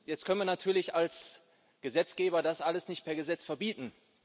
Jetzt können wir natürlich als Gesetzgeber das alles nicht per Gesetz verbieten.